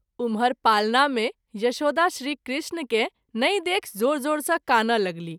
उमहर पालना मे यशोदा श्री कृष्ण के नहिं देखि जोर जोर सँ कानय लगलीह।